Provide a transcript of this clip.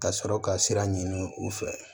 Ka sɔrɔ ka sira ɲini u fɛ